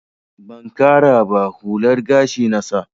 Ban ƙara ba, hular gashi na sa.